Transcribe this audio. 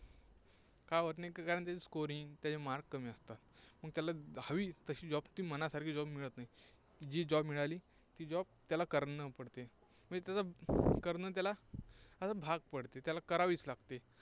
का होत नाही? कारण त्याचं scoring त्याचे mark कमी असतात. मग त्याला हवी तशी job ती मनासारखी मिळत नाही. जी job मिळाली ती job त्याला करणं पडते. म्हणजे त्याचा करणं त्याला भाग पडते. त्याला करावीच लागते.